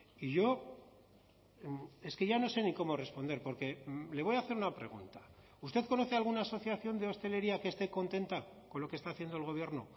y yo es que ya no sé ni cómo responder porque le voy a hacer una pregunta usted conoce alguna asociación de hostelería que esté contenta con lo que está haciendo el gobierno